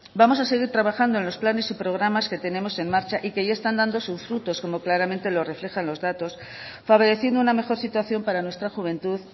vamos a seguir trabajando en los planes y programas que tenemos en marcha y que ya están dando sus frutos como claramente lo reflejan los datos favoreciendo una mejor situación para nuestra juventud